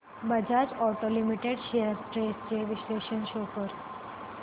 Bajaj auto limited shares trends चे विश्लेषण show कर